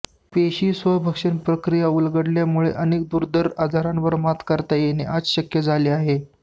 पेशीस्वभक्षण प्रक्रिया उलगडल्यामुळे अनेक दुर्धर आजारांवर मात करता येणं आज शक्य झालं आहे